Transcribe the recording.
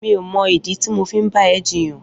Mi ó mọ idi ti mó fi n bà ẹ̀ jiyàn